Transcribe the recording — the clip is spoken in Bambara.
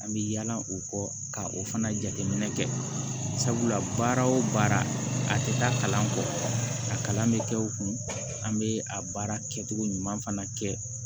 An bɛ yala o kɔ ka o fana jateminɛ kɛ sabula baara o baara a tɛ taa kalan kɔ a kalan bɛ kɛ o kun an bɛ a baara kɛcogo ɲuman fana kɛ